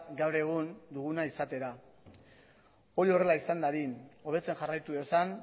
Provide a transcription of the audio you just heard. gaur egun duguna izatera hori horrela izan dadin hobetzen jarraitu dezan